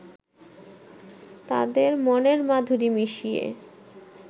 তাদের মনের মাধুরী মিশিয়ে